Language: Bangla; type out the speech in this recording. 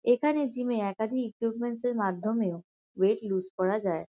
এখানে জিম -এ একাধিক ইকিউপমেন্টস -এর মাধ্যমেও ওয়েট লুস করা যায়।